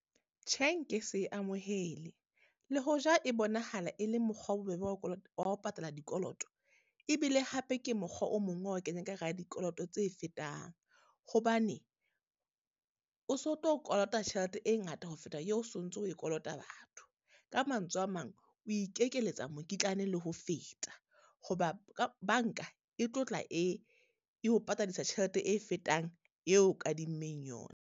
Tjhe, nke se e amohele, le hoja e bonahala e le mokgwa o bobebe wa wa ho patala dikoloto, e bile hape ke mokgwa o mong wa ho kenya ka hara dikoloto tse fetang. Hobane o so tlo kolota tjhelete e ngata ho feta eo o sontso o e kolota batho. Ka mantswe a mang, o ikekeletsa mokitlane le ho feta. Ho ba ka banka e tlo tla e, e o patadisa tjhelete e fetang eo kadimmeng yona.